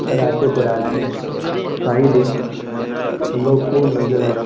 রাতে করা আছে সাইড - এ লোক ও নজর আছে।